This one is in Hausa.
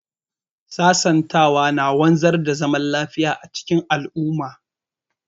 Sasantawa na wanzar da zaman lafiya a cikin al'umma.